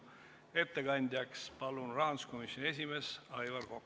Ettekandjaks palun rahanduskomisjoni esimehe Aivar Koka.